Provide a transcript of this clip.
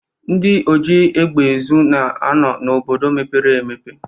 Ndị oji egbe ezu na-anọ n'obodo mepere emepe.